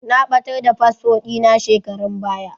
Na ɓatar da fasfo ɗina shekaran baya.